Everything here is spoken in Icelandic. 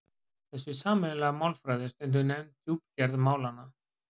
þessi sameiginlega málfræði er stundum nefnd djúpgerð málanna